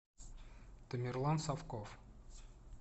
тамерлан совков